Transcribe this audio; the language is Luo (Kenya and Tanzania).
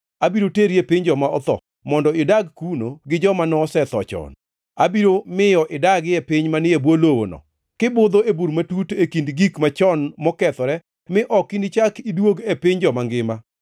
abiro teri e piny joma otho, mondo idag kuno gi joma nosetho chon. Abiro miyo idagi e piny manie bwo lowono, kibudho e bur matut e kind gik machon mokethore mi ok inichak iduog e piny joma ngima.